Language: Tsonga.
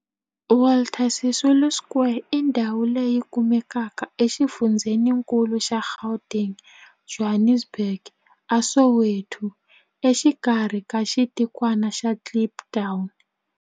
Walter Sisulu Square i ndhawu leyi kumekaka exifundzheni-nkulu xa Gauteng, Johannesburg, a Soweto, exikarhi ka xitikwana xa Kliptown.